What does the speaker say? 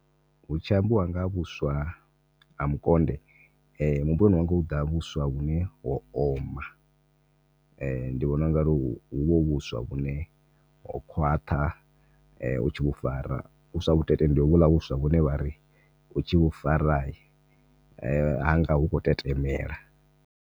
Hu tshi ambiwa nga ha vhuswa ha mukonde muhumbuloni wanga hu ḓa vhuswa vhune ho oma ndi vhona unga huvha hu vhuswa vhune ho khwaṱha , u tshi vhufara vhuswa vhutete ndi ho vhula vhuswa vhune vhari u tshi vhufara hanga hu khou tetemela.